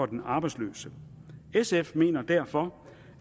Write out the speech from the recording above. den arbejdsløse sf mener derfor